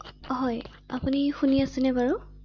হয় আপুনি শুনি আছেনে বাৰু৷